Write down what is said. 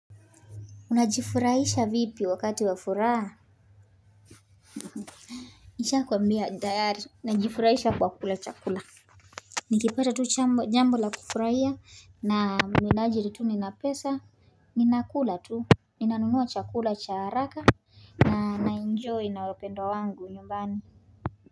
Unajifurahisha vipi wakati wa furaha Nishakuambia dayari, najifurahisha kwa kula chakula Nikipata tu jambo la kufurahia na minajiri tu nina pesa Ninakula tu, ninanunua chakula cha haraka na naenjoy na wapendwa wangu nyumbani.